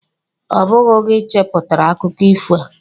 Ọ bụghị gị cheputara akụkọ ifo a